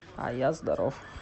а я здоров